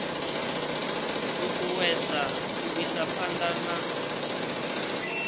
ṱuṱuwedza u isa phanḓa na